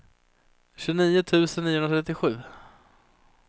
tjugonio tusen niohundratrettiosju